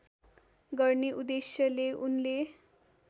गर्ने उद्देश्यले उनले